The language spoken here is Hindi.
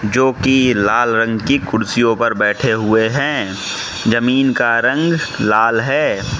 जो की लाल रंग की कुर्सियों पर बैठे हुए हैं जमीन का रंग लाल है।